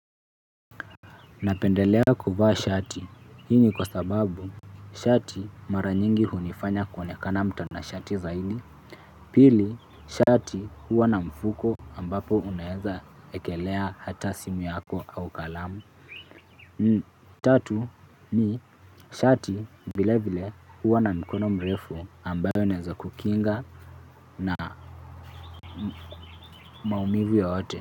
Napendelea kuvaa shati, hii ni kwa sababu shati mara nyingi hunifanya kuonekana mtanashati zaidi. Pili, shati huwa na mfuko ambapo unaweza ekelea hata simu yako au kalamu. Tatu ni shati vilevile huwa na mikono mirefu ambayo naweza kukinga na maumivu yoyote.